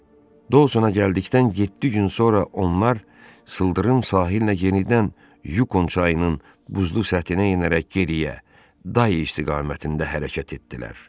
Dousona gəldikdən yeddi gün sonra onlar sıldırım sahillə yenidən Yukon çayının buzlu səthinə enərək geriyə, Day istiqamətində hərəkət etdilər.